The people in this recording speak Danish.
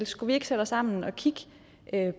skulle vi ikke sætte os sammen og kigge